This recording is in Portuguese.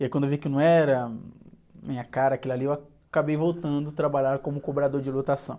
E aí quando eu vi que não era minha cara, aquilo ali, eu acabei voltando trabalhar como cobrador de lotação.